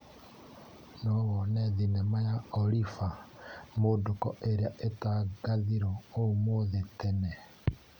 No wone thinema ya Oliva Mũndũko ĩrĩa ĩtangathirwo ũmũthi tene.